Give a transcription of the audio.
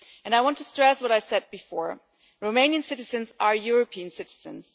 I want to stress what I said before Romanian citizens are European citizens.